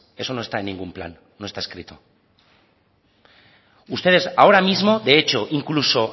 eso no está en ningún plan no está escrito ustedes ahora mismo de hecho incluso